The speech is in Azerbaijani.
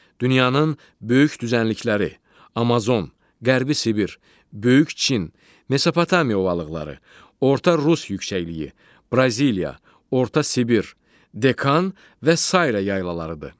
Dünyanın böyük düzənlikləri: Amazon, Qərbi Sibir, Böyük Çin, Mesopotamiya ovalıqları, Orta Rus yüksəkliyi, Braziliya, Orta Sibir, Dekan və sairə yaylalarıdır.